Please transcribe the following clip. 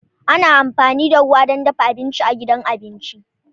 Ana amfani da ruwa don dafa abinci a gidan abinci.